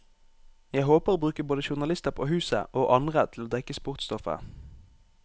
Jeg håper å bruke både journalister på huset, og andre til å dekke sportsstoffet.